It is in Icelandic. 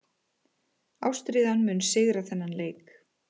Ástríðan mun sigra þennan leik.